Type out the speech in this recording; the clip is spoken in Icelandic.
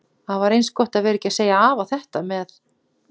Það var eins gott að vera ekki að segja afa þetta með